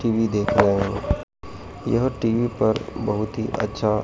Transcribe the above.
TV देख रहे हैं यह टी_वी पर बहुत ही अच्छा--